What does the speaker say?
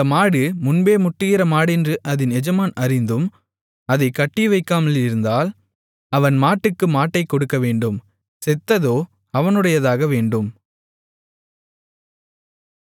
அந்த மாடு முன்பே முட்டுகிற மாடென்று அதின் எஜமான் அறிந்தும் அதைக் கட்டிவைக்காமல் இருந்தால் அவன் மாட்டுக்கு மாட்டைக் கொடுக்கவேண்டும் செத்ததோ அவனுடையதாக வேண்டும்